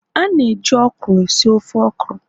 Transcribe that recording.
a na-eji okra esi ofe okra